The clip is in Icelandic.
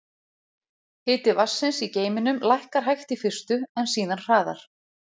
Hiti vatnsins í geyminum lækkar hægt í fyrstu, en síðan hraðar.